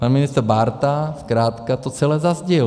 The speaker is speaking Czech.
Pan ministr Bárta zkrátka to celé zazdil.